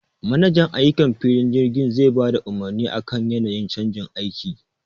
Manajan ayukan filin jirgi zai bada umurni akan yanayin canjin aiki